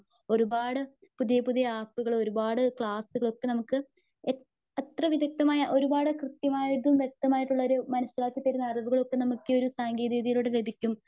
ഒരുപാട് പുതിയ പുതിയ ആപ്പുകൾ. ഒരുപാട് ക്ലാസുകളൊക്കെ നമുക്ക് അത്ര വിദക്തമായ ഒരുപാട് കൃത്യമായതും, വയ്ക്തമായിട്ടുള്ളൊരു മനസിലാക്കിത്തരുന്ന അറിവുകളൊക്കെ നമുക്ക് ഈ ഒരു സാങ്കേതിക വിദ്ത്യയിലുടെ നമുക്ക് ലഭിക്കും. .